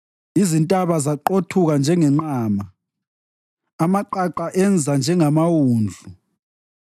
Izintaba zaqothuka njengenqama, amaqaqa enza njengamawundlu.